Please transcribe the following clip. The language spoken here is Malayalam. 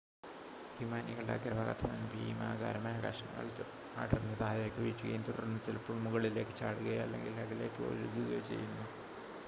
ഹിമാനികളുടെ അഗ്രഭാഗത്തു നിന്ന് ഭീമാകാരമായ കഷണങ്ങൾ അടർന്നു താഴേക്ക് വീഴുകയും തുടർന്ന് ചിലപ്പോൾ മുകളിലേക്ക് ചാടുകയോ അല്ലെങ്കിൽ അകലേക്ക് ഒഴുകുകയോ ചെയ്യുന്നു